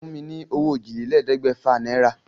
Fún mi ní owó òjìlélẹ̀ẹ́dégbèfà náírà.